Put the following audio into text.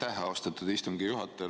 Aitäh, austatud istungi juhataja!